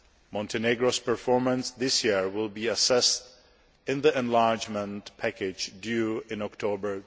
Montenegro's performance this year will be assessed in the enlargement package due in October